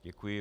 Děkuji.